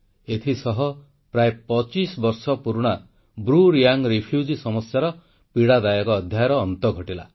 ଏଥିସହ ପ୍ରାୟ 25 ବର୍ଷ ପୁରୁଣା ବ୍ରୁ ରିୟାଙ୍ଗ୍ ରିଫ୍ୟୁଜି ସମସ୍ୟାର ପୀଡ଼ାଦାୟକ ଅଧ୍ୟାୟର ଅନ୍ତ ଘଟିଲା